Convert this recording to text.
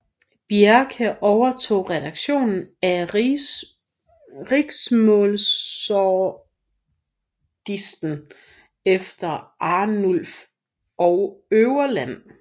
Bjerke overtog redaktionen af Riksmålsordlisten efter Arnulf Øverland